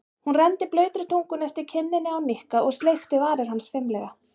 Hún renndi blautri tungunni eftir kinninni á Nikka og sleikti varir hans fimlega.